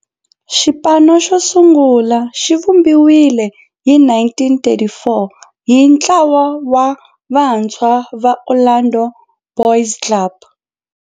Xipano xosungula xivumbiwile hi 1934 hi ntlawa wa vantshwa va Orlando Boys Club.